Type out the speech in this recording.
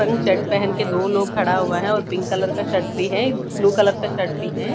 Pink shirt पहन के दो लोग खड़ा हुआ है और पिंक कलर का शर्ट भी है ब्लू कलर का शर्ट भी है।